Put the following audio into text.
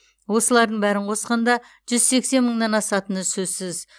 осылардың бәрін қосқанда жүз сексен мыңнан асатыны сөзсіз